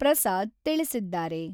ಪ್ರಸಾದ್ ತಿಳಿಸಿದ್ದಾರೆ.